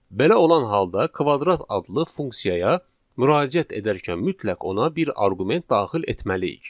Belə olan halda kvadrat adlı funksiyaya müraciət edərkən mütləq ona bir arqument daxil etməliyik.